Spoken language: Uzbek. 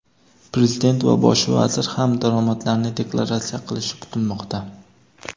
Prezident va Bosh vazir ham daromadlarini deklaratsiya qilishi kutilmoqda.